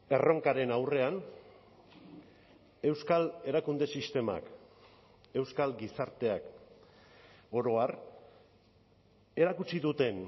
erronkaren aurrean euskal erakunde sistemak euskal gizarteak oro har erakutsi duten